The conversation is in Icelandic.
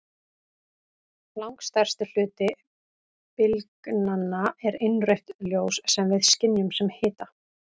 Langstærsti hluti bylgnanna er innrautt ljós sem við skynjum sem hita.